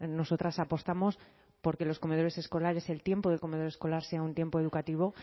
nosotras apostamos por que los comedores escolares el tiempo del comedor escolar sea un tiempo educativo